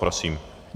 Prosím.